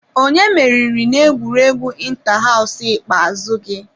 Onye meriri n'egwuregwu inta-haws ikpeazụ gị?